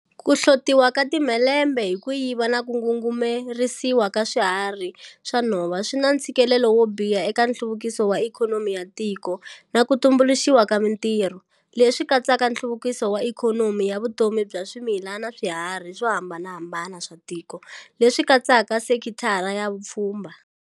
Ku hlotiwa ka timhelembe hi ku yiva na ku ngungumerisiwa ka swiharhi swa nhova swi na ntshikelelo wo biha eka nhluvukiso wa ikhonomi ya tiko na ku tumbuluxiwa ka mitirho, leswi katsaka nhluvukiso wa ikhonomi ya vutomi bya swimila na swiharhi swo hambanahambana swa tiko leswi katsaka sekithara ya swa vupfhumba.